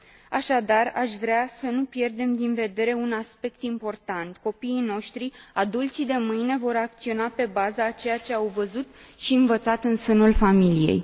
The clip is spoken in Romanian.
Așadar, aș vrea să nu pierdem din vedere un aspect important copiii noștri, adulții de mâine, vor acționa pe baza a ceea ce au văzut și învățat în sânul familiei.